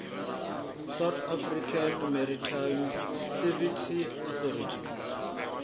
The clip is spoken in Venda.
south african maritime safety authority